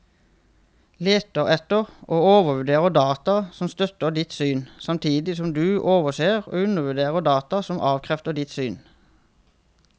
Leter etter og overvurderer data som støtter ditt syn, samtidig som du overser og undervurderer data som avkrefter ditt syn.